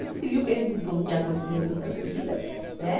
Eu disse, viu, que eu queria desbloquear conhecimento de outras vidas, né?